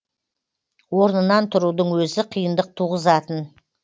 орнынан тұрудың өзі қиындық туғызатын